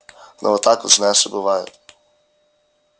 ну вот так вот знаешь и бывает